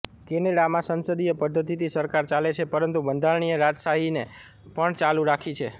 કેનેડામાં સંસદીય પદ્ધતિથી સરકાર ચાલે છે પરંતુ બંધારણીય રાજાશાહીને પણ ચાલુ રાખી છે